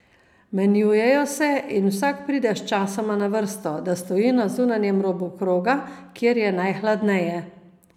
Menjujejo se in vsak pride sčasoma na vrsto, da stoji na zunanjem robu kroga, kjer je najhladneje.